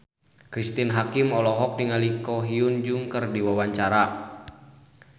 Cristine Hakim olohok ningali Ko Hyun Jung keur diwawancara